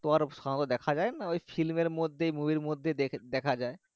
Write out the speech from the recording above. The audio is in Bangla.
এত আর শহর দেখা যাই না film এরমর্ধে movie মর্ধে দেখা যাই।